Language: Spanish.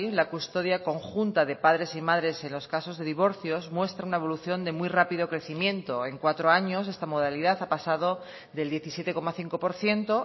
la custodia conjunta de padres y madres en los casos de divorcios muestra una evolución de muy rápido crecimiento en cuatro años esta modalidad ha pasado del diecisiete coma cinco por ciento